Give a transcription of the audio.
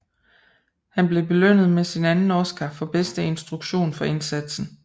Han blev belønnet med sin anden Oscar for bedste instruktion for indsatsen